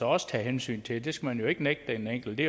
også tages hensyn til det det skal man jo ikke nægte den enkelte